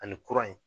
Ani kura in